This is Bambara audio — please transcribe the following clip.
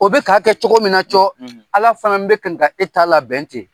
O be ka kɛ cogo min na co , ala fana be kan ka e t'a labɛn ten.